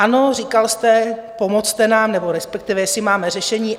Ano, říkal jste: Pomozte nám, nebo respektive jestli máme řešení.